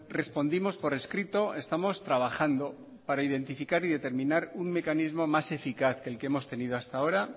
respondimos por escrito estamos trabajando para identificar y determinar un mecanismo más eficaz que el que hemos tenido hasta ahora